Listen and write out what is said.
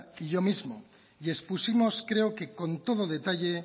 y yo mismo y expusimos creo que con todo detalle